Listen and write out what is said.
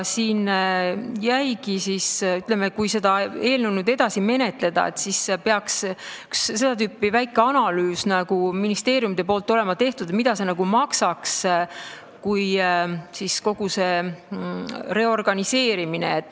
Kui seda eelnõu edasi menetleda, siis peaks ministeeriumidel olema tehtud üks seda tüüpi väike analüüs, et mida kogu see reorganiseerimine maksaks.